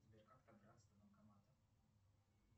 сбер как добраться до банкомата